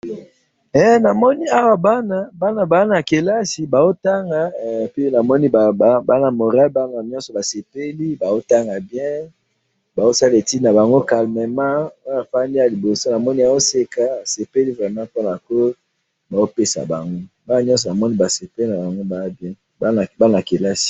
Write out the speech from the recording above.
he namoni awa bana bana baza na kelasi bazo tanga bana baza na moral bazo sala etude calmement bazo tanga malamu bana nyonso bazo tnga ezali bien vraiment.